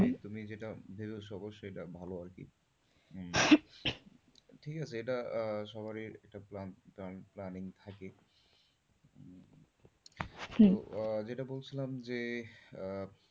তুমি যেটা যেটা সহজ সেটা ভালো আরকি উম ঠিক আছে এটা সবারই plan~ plan~ planning থাকে হম তো আহ যেটা বলছিলাম যে, আহঃ